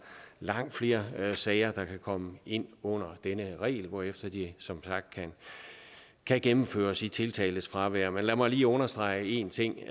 langt flere sager der kan komme ind under denne regel hvorefter de som sagt kan gennemføres i tiltaltes fravær men lad mig lige understrege en ting